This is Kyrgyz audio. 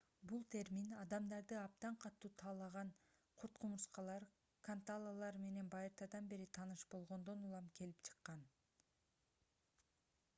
бул термин адамдарды абдан катуу талаган курт-кумурскалар канталалар менен байыртадан бери тааныш болгондон улам келип чыккан